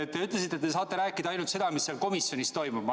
Te ütlesite siin, et saate rääkida ainult seda, mis komisjonis toimus.